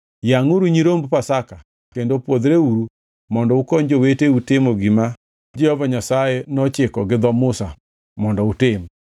Yangʼuru nyiromb Pasaka kendo pwodhreuru mondo ukony joweteu timo gima Jehova Nyasaye nochiko gi dho Musa mondo utim.”